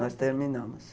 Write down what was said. Nós terminamos.